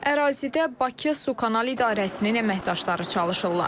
Ərazidə Bakı Su Kanal idarəsinin əməkdaşları çalışırlar.